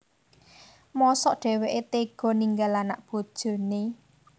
Mosok dhèwèké téga ninggal anak bojoné